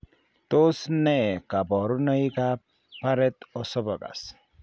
Tos nee kabarunaik ab Barrett esophagus ?